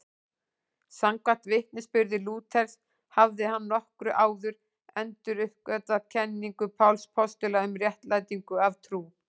Samkvæmt vitnisburði Lúthers hafði hann nokkru áður enduruppgötvað kenningu Páls postula um réttlætingu af trú.